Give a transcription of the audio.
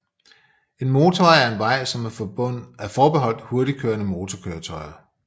En motorvej er en vej som er forbeholdt hurtigtkørende motorkøretøjer